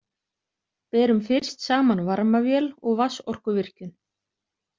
Berum fyrst saman varmavél og vatnsorkuvirkjun.